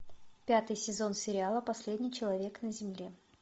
пятый сезон сериала последний человек на земле